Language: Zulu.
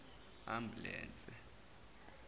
ambulense